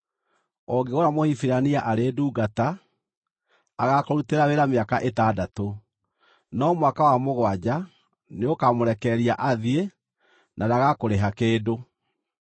“Ũngĩgũra Mũhibirania arĩ ndungata, agaakũrutĩra wĩra mĩaka ĩtandatũ. No mwaka wa mũgwanja, nĩũkamũrekereria athiĩ, na ndagakũrĩha kĩndũ.